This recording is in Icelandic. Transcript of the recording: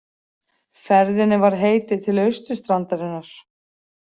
Ferðinni var heitið til austurstrandarinnar.